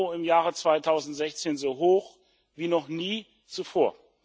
EUR im Jahre 2016 so hoch wie noch nie zuvor.